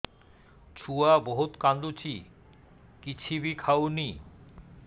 ଛୁଆ ବହୁତ୍ କାନ୍ଦୁଚି କିଛିବି ଖାଉନି